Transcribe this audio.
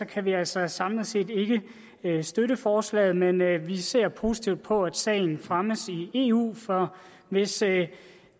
kan vi altså samlet set ikke støtte forslaget men vi ser positivt på at sagen fremmes i eu for hvis det